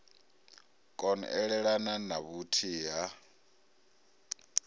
kon elelana na vhuthihi ha